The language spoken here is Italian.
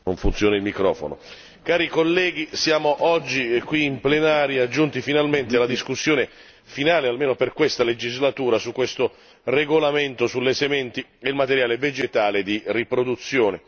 Signor Presidente, cari colleghi, siamo oggi qui in plenaria, giunti finalmente alla discussione finale almeno per questa legislatura, su questo regolamento sulle sementi e il materiale vegetale di riproduzione.